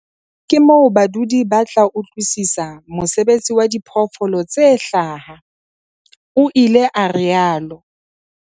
Ke teng feela moo badudi ba tla utlwisisa mosebetsi wa diphoofolo tse hlaha, o ile a rialo.